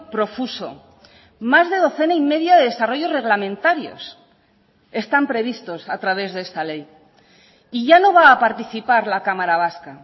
profuso más de docena y media de desarrollos reglamentarios están previstos a través de esta ley y ya no va a participar la cámara vasca